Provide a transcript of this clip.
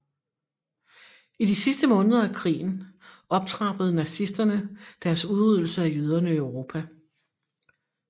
I de sidste måneder af krigen optrappede nazisterne deres udryddelse af jøderne i Europa